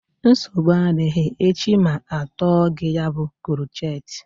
Nsogbu adịghị echi ma atọọ gị ya bụ krochet